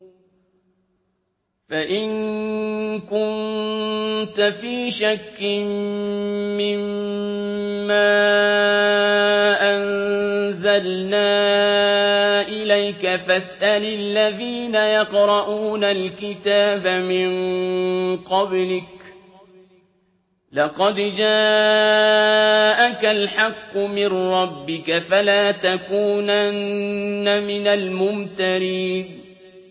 فَإِن كُنتَ فِي شَكٍّ مِّمَّا أَنزَلْنَا إِلَيْكَ فَاسْأَلِ الَّذِينَ يَقْرَءُونَ الْكِتَابَ مِن قَبْلِكَ ۚ لَقَدْ جَاءَكَ الْحَقُّ مِن رَّبِّكَ فَلَا تَكُونَنَّ مِنَ الْمُمْتَرِينَ